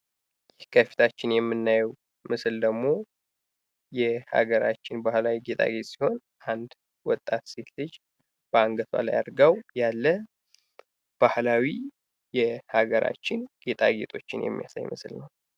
ከፊታችን የምናየው ምስል ደግሞ የአገራችን ባህላዊ ጌጣጌጥ ሲሆን ወጣት ሴት ልጅ በአንገቷ ላይ አድርገው ያለ ባህላዊ የሀገራችን ጌጣጌጦችን የሚያሳይ ምስል ነው።